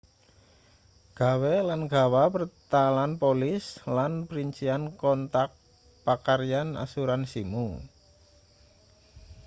gawe lan gawa pertalan polis lan princian kontak pakaryan asuransimu